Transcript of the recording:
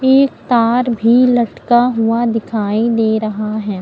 एक तार भी लटका हुआ दिखाई दे रहा है।